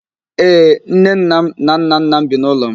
Ee, nnenna m na nnanna m bi n'ụlọ m.